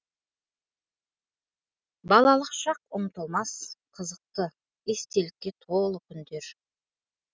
балалық шақ ұмытылмас қызықты естелікке толы күндер